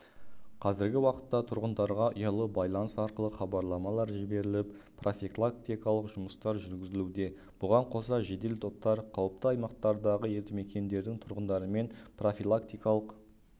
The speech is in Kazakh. қазіргі уақытта тұрғындарға ұялы байланыс арқылы хабарламалар жіберіліп профилактикалық жұмыстар жүргізілуде бұған қоса жедел топтар қауіпті аймақтардағы елді мекендердің тұрғындарымен профилактикалық